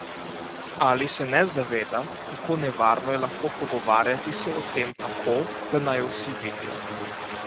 Ali se ne zaveda, kako nevarno je lahko pogovarjati se o tem tako, da naju vsi vidijo?